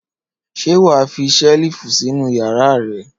Ṣé wà á fi ṣẹ́lífù sínú ìyàrá rẹ?